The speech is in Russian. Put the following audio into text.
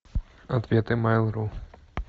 ответы майл ру